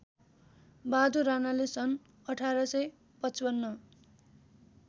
बहादुर राणाले सन् १८५५